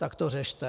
Tak to řešte.